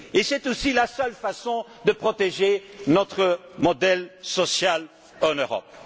C'est aussi la seule façon de protéger notre modèle social en Europe.